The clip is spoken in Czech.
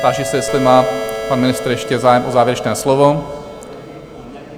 Táži se, jestli má pan ministr ještě zájem o závěrečné slovo?